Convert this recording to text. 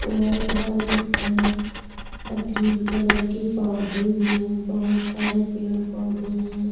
White -white है और green colour के पौधे भी हैं बहुत सारे पेड़-पौधे हैं।